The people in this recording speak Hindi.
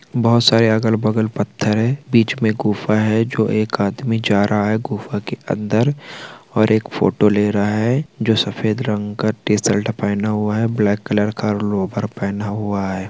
बहौत सारे अगल-बगल पत्थर हैं बिच में गुफा है जो एक आदमी जा रहा है गुफा की अंदर और एक फोटो ले रहा है जो सफ़ेद रंग का टी-शर्ट पहना हुआ है ब्लैक कलर का लोवर पहना हुआ है।